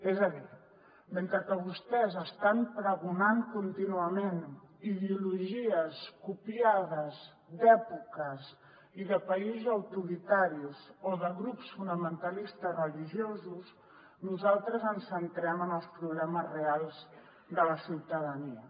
és a dir mentre que vostès estan pregonant contínuament ideologies copiades d’èpoques i de països autoritaris o de grups fonamentalistes religiosos nosaltres ens centrem en els problemes reals de la ciutadania